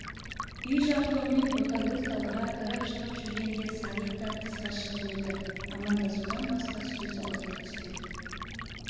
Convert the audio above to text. үй жабдығымен ботагөз далаға кіріп-шығып жүргенде сағит та тысқа шығып еді амандасудан басқа сөз аузына түспеді